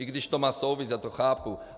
I když to má souvislost, já to chápu.